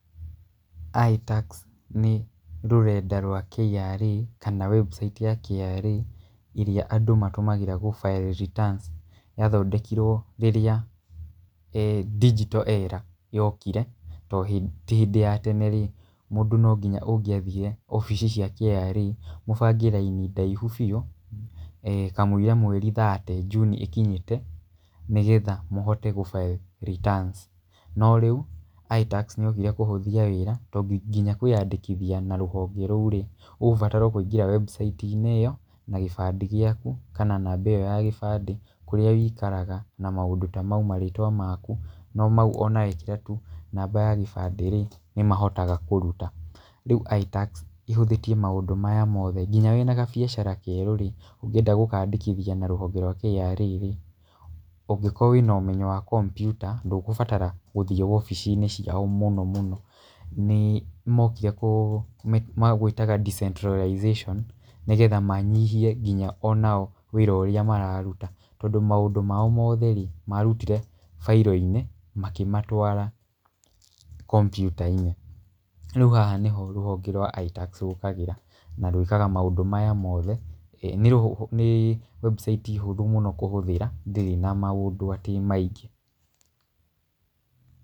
ITax nĩ rũrenda rwa KRA kana website ya KRA ĩrĩa andũ matũmagĩra gĩ file returns. Yathondekirwo rĩrĩa digital era yokire. Tondũ hĩndĩ ya tene rĩ, mũndũ no nginya ũngĩathire wabici cia KRA mũbange raini ndaihu biũ kamũira mweri thirty June ĩkinyĩte nĩgetha mũhote gũ file returns. No rĩu ITax nĩ yokire kũhũthia wĩra tondũ nginya kwĩandĩkithia na rũhonge rũi rĩ, ũgũbatara kũingĩra website inĩ ĩyo na gĩbandĩ gĩaku kana namba ĩyo ya gĩbandĩ kũrĩa ũikaraga na maũndũ ta mau, marĩtwa maku, no mau ona wekĩra tu namba ya kĩbandĩ rĩ, nĩ mahotaga kũruta. Rĩu ITax ĩhũthĩtie maũndũ maya mothe. Nginya wĩna kabiacara kerũ rĩ, ũngĩenda gũkaandĩkithia na rũhonge rwa KRA rĩ, ũngĩkorwo wĩna ũmenyo wa kompiuta ndũgũbatara gũthiĩ wabici ciao mũno mũno. Nĩ mokire kũ magwĩtaga decentralization nĩgetha manyihie nginya ona o wĩra ũrĩa mararuta. Tondũ maũndũ mao mothe rĩ marutire in the file makĩmatwara kompiuta-inĩ. Rĩu haha nĩho rũhonge rwa ITax rũkagĩra na rwĩkaga maũndũ maya mothe. Nĩ webusaiti hũthũ mũno kũhũthĩra ndĩrĩ na maũndũ atĩ maingĩ.